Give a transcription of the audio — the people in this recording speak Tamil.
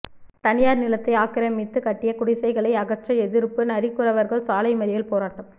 தனியார் நிலத்தை ஆக்கிரமித்து கட்டிய குடிசைகளை அகற்ற எதிர்ப்பு நரிக்குறவர்கள் சாலை மறியல் போராட்டம்